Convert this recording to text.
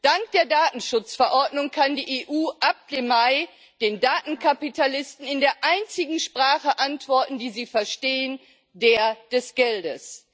Dank der Datenschutzverordnung kann die EU ab Mai den Datenkapitalisten in der einzigen Sprache antworten, die sie verstehen der des Geldes.